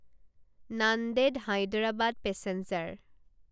Nanded Hyderabad passenger